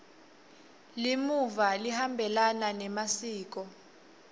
limuva lihambelana nemasiko